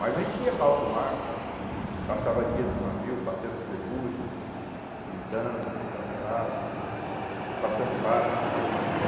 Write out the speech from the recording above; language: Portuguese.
Mas a gente ia para alto mar, passava dias no navio, batendo ferrugem, pintando, pintando calado, passando páscoa, essas coisas no navio.